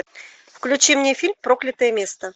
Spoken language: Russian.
включи мне фильм проклятое место